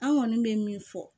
An kɔni bɛ min fɔ